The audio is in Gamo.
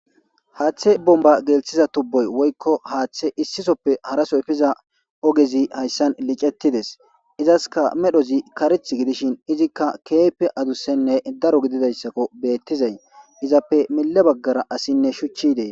Hatha bomba gelthiza tubo hathe issisoppe haraso epiza ogezi haysan licetides izasika medhozi karethi gidishin izika kehippe adusene daro gididaysako betizay izappe miye bagara asiyne shuchi dees